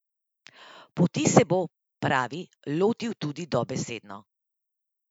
Poti se bo, pravi, lotil tudi dobesedno.